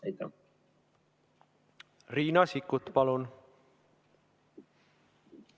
Riina Sikkut, palun!